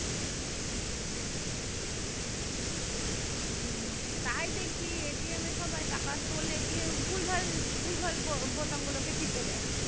এর তাই দেখি এ সবাই টাকা তোলে দিয়ে ভুল-ভাল ভুল-ভাল বো বোতাম গুলো টিপে দেয়